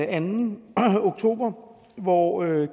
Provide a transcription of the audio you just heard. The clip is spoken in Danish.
anden oktober hvor